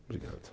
Obrigado